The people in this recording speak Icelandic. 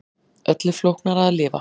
Öllu flóknara að lifa.